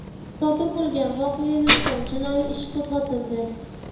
Sodir bo‘lgan voqea yuzasidan jinoiy ish qo‘zg‘atildi.